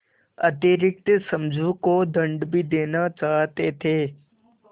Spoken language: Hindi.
अतिरिक्त समझू को दंड भी देना चाहते थे